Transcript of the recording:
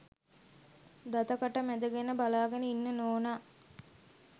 දත කට මැදගෙන බලාගෙන ඉන්න නෝනා.